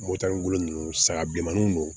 Motani ninnu saga bilenmanin don